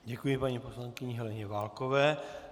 Děkuji paní poslankyni Heleně Válkové.